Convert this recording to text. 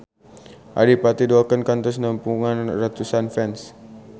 Adipati Dolken kantos nepungan ratusan fans